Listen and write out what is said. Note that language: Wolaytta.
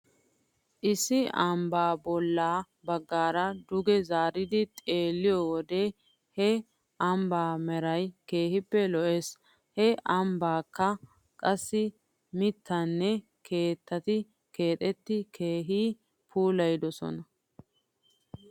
Issi ambbaa bolla baggaara duge zaaridi xeelliyoo wodiyan he ambbaa meray keehippe lo'es. He ambbaakka qassi mittatinne keettati keettati keehi puulayidosona.